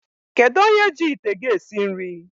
Kedụ onye ji ite gị esi nri?